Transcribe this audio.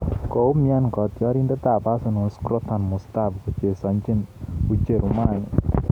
Koumian katyarindet ab Arsenal Shkodran Mustafi kochesane ucherumani